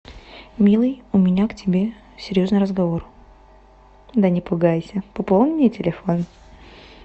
милый у меня к тебе серьезный разговор да не пугайся пополни мне телефон